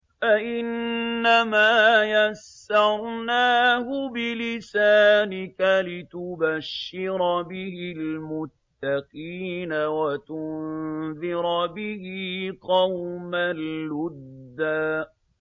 فَإِنَّمَا يَسَّرْنَاهُ بِلِسَانِكَ لِتُبَشِّرَ بِهِ الْمُتَّقِينَ وَتُنذِرَ بِهِ قَوْمًا لُّدًّا